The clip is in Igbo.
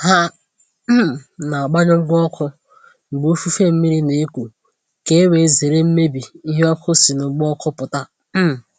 Ha um na agbanyụ ngwa ọkụ mgbe ifufe mmiri na-eku ka e wee zere mmebi ihe ọkụ si n’ụgbọ ọkụ pụta. um